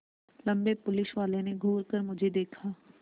लम्बे पुलिसवाले ने घूर कर मुझे देखा